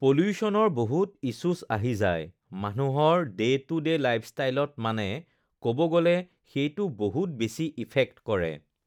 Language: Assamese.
পলিউশ্যনৰ বহুত ইশ্বুছ আহি যায় মানুহৰ ডে টু ডে লাইফষ্টাইলত মানে ক'ব গ'লে সেইটো বহুত বেছি ইফেক্ট কৰে